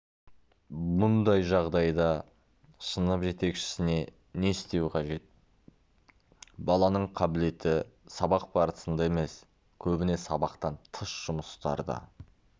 бұндай жағдайда сынып жетекшісіне не істеу қажет баланың қабілеті сабақ барысында емес көбіне сабақтан тыс жұмыстарда